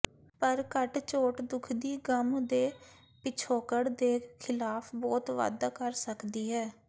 ਪਰ ਘੱਟ ਛੋਟ ਦੁਖਦੀ ਗੱਮ ਦੇ ਪਿਛੋਕੜ ਦੇ ਖਿਲਾਫ ਬਹੁਤ ਵਾਧਾ ਕਰ ਸਕਦੀ ਹੈ